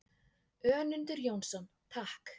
Önundur Jónsson: Takk.